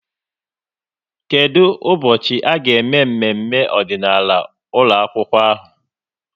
Kedụ ụbọchị a ga-eme mmemme ọdịnaala ụlọakwụkwọ ahụ?